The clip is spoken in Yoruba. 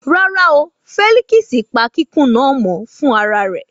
Rárá o, Fẹ́líkísì pa kikun náà mọ́ fún ara rẹ̀